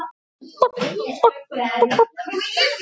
Samband okkar Stínu var gott.